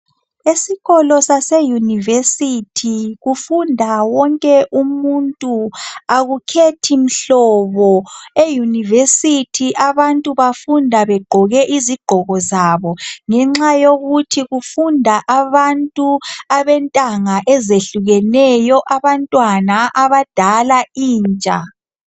Esikolo sase yunivesithi kufunda wonke umuntu akukhethi mhlobo eyunivesithi abantu bafunda begqoke izigqoko zabo ngenxa yokuthi kufunda abantu abentanga ezehlukeneyo abantwana , abadala ,intsha.